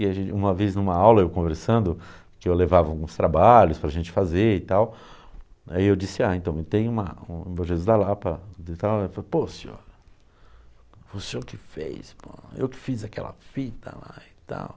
E a gente, uma vez, em uma aula, eu conversando, que eu levava uns trabalhos para a gente fazer e tal, aí eu disse, ah, então, eu tenho uma, um um Bom Jesus da Lapa e tal, ele falou, pô, senhor, foi o senhor que fez, pô, eu que fiz aquela fita lá e tal.